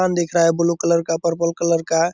दिख रहा हैं ब्लू कलर का पर्पल कलर का।